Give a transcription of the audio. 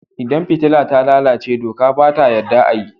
Idan fitila ta lalace doka ba ta yadda a yi.